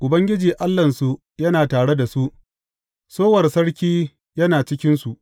Ubangiji Allahnsu yana tare da su; sowar Sarki yana cikinsu.